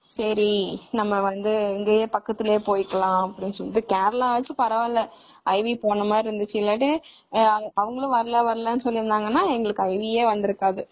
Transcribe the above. சரி நம்ம வந்து இங்கையே பக்கத்துலையே போய்க்கலாம் அப்படினு சொல்லிட்டு கேரளாவச்சு பரவாயில்ல iv போனமாதிரி இருந்துச்சு.இல்லைனா எங்களுக்கு iv யே இருந்துருக்காது.